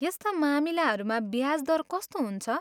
यस्ता मामिलाहरूमा ब्याज दर कस्तो हुन्छ?